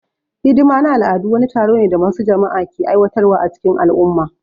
Hidima na al'adu wani taro ne da wasu jama'a ke aiwatar wa a cikin al'umma